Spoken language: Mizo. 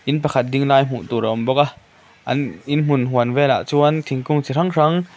in pakhat ding lai hmuh tur a awm bawk a an inhmun huan velah chuan thingkung chi hrang hrang.